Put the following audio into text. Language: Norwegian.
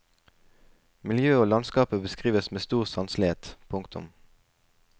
Miljøet og landskapet beskrives med stor sanselighet. punktum